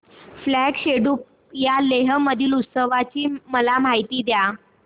फ्यांग सेडुप या लेह मधील उत्सवाची मला माहिती द्या